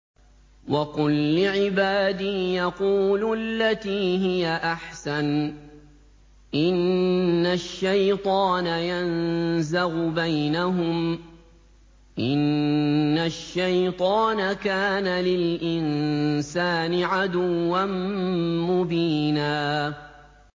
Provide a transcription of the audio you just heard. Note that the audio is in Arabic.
وَقُل لِّعِبَادِي يَقُولُوا الَّتِي هِيَ أَحْسَنُ ۚ إِنَّ الشَّيْطَانَ يَنزَغُ بَيْنَهُمْ ۚ إِنَّ الشَّيْطَانَ كَانَ لِلْإِنسَانِ عَدُوًّا مُّبِينًا